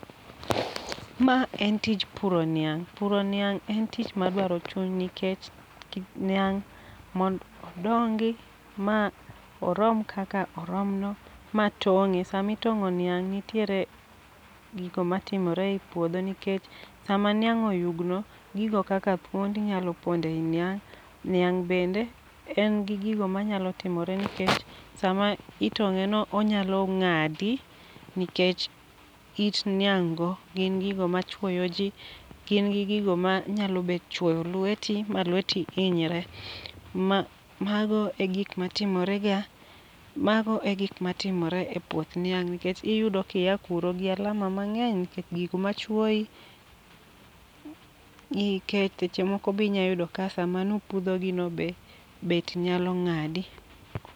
Ma en tij puro niang'. Puro niang' en tich madwaro chuny nikech niang' mondo odongi ma orom kak orom no matong'e. Samitong'o niang' ntie gigo matimore e puodho nikech sama niang' oyugno gigo kaka thuonde nyalo ponde niang'. E niang' bende en gi gigo manyalo timore nikech sama itong'e no onyalo ng'adi nikech it niang' go gin gigo macguyo jii gin gigo manya chuoyo lweti ma lweti hinyre. .Ma mago e gike matimre ga mago e gik matimre e puoth niang' nikech iyudo ka iwuok kuro gi alama mang'eny nikech gik machwowi nikech seche moko be inya yudo ka seche mane upudho gi no be beti nyalo ng'adi.